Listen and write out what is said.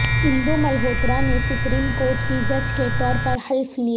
اندو ملہوترا نے supreme court کی جج کے طور پر حلف لیا